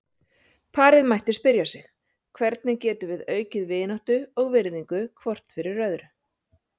Parið mætti spyrja sig: Hvernig getum við aukið vináttu og virðingu hvort fyrir öðru?